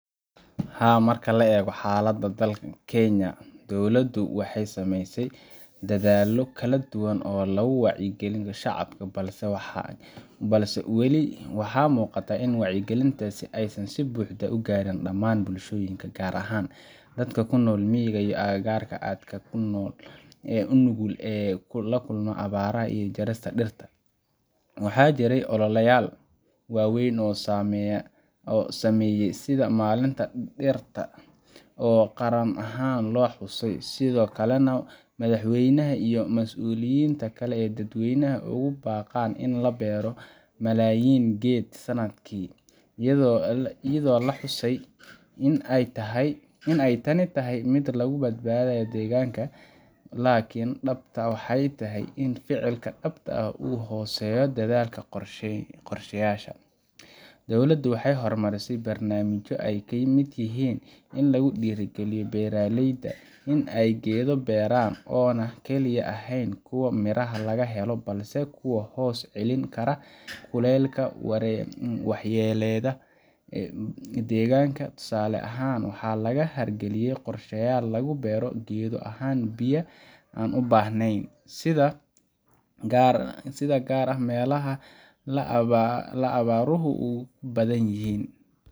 Haa, marka la eego xaaladda dalka Kaenya, dowladdu waxay sameysay dadaallo kala duwan oo lagu wacyigelinayo shacabka, balse weli waxaa muuqata in wacyigelintaasi aysan si buuxda u gaarin dhammaan bulshooyinka, gaar ahaan dadka ku nool miyiga ama aagagga aadka u nugul ee la kulma abaaraha iyo jarista dhirta. Waxaa jiray ololeyaal waaweyn oo la sameeyay sida maalinta dhirta oo qaran ahaan loo xusayo, sidoo kalena madaxweynaha iyo mas’uuliyiinta kale ay dadweynaha ugu baaqaan in la beero malaayiin geed sanadkiiba, iyadoo la xusay in ay tani tahay mid lagu badbaadinayo deegaanka. Laakiin dhabta ah waxay tahay in ficilka dhabta ah uu ka hooseeyo hadalka iyo qorshayaasha. Dowladda waxay horumarisay barnaamijyo ay ka mid yihiin kuwa lagu dhiirrigelinayo beeralayda in ay geedo beeraan oo aan kaliya ahayn kuwo miraha laga helo, balse kuwa hoos celin kara kuleylka iyo waxyeellada deegaanka. Tusaale ahaan, waxaa laga hirgaliyay qorshayaal lagu beero geedo aan biyaha badan u baahnayn, si gaar ah meelaha ay abaaruhu ku badan yihiin.